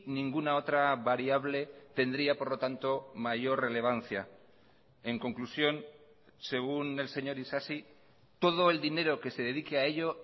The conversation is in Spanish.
ninguna otra variable tendría por lo tanto mayor relevancia en conclusión según el señor isasi todo el dinero que se dedique a ello